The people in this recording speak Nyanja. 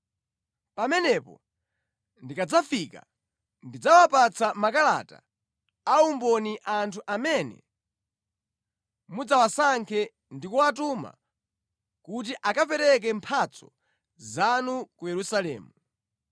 Pamenepo, ndikadzafika, ndidzawapatsa makalata a umboni anthu amene mudzawasankhe ndi kuwatuma kuti akapereka mphatso zanu ku Yerusalemu.